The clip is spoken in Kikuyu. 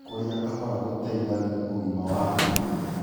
Kurĩa kahora gũteithagia ũgima wa ndaa